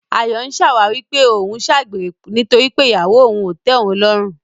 Ayọ̀ ń ṣàwáwí pé òun ń ṣàgbèrè nítorí pé ìyàwó òun ò tẹ́ òun lọ́rùn.